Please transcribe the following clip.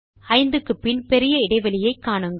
5 க்கு பின் பெரிய இடைவெளியை காணுங்கள்